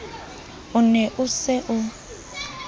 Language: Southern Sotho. o ne o se o